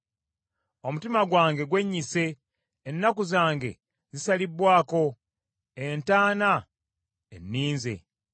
Omutima gwange gwennyise, ennaku zange zisalibbwaako, entaana enninze.